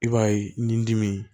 I b'a ye nin dimi